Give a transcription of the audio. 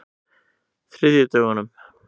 þriðjudögunum